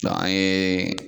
an ye